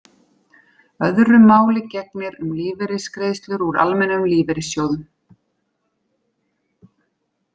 Öðru máli gegnir um lífeyrisgreiðslur úr almennum lífeyrissjóðum.